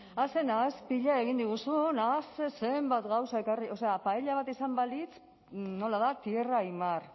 a ze nahaspila egin diguzun a zenbat gauza ekarri o sea paella bat izan balitz nola da tierra y mar